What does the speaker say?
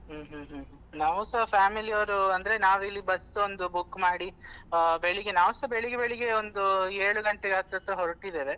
ಹ್ಮ್ ಹ್ಮ್ ನಾವು ಸ family ಅವರು ಅಂದ್ರೆ ನಾವಿಲ್ಲಿ bus ಒಂದು book ಮಾಡಿ ಆ ನಾವು ಸ ಬೆಳಿಗ್ಗೆ ಬೆಳಿಗ್ಗೆ ಒಂದು ಏಳು ಗಂಟೆ ಹತ್ರ ಹತ್ರ ಹೊರಟಿದ್ದೇವೆ.